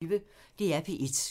DR P1